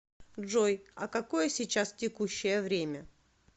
джой а какое сейчас текущее время